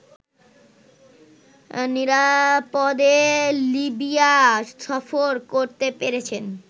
নিরাপদে লিবিয়া সফর করতে পেরেছেন